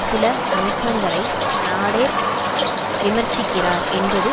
சில அம்சங்களை நாடெர் விமர்சிக்கிறார் என்பது